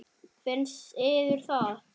Finnst yður það?